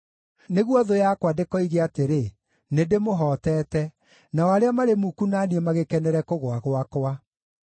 nĩguo thũ yakwa ndĩkoige atĩrĩ, “Nĩndĩmũhootete,” nao arĩa marĩ muku na niĩ magĩkenere kũgũa gwakwa.